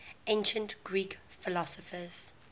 ancient greek philosophers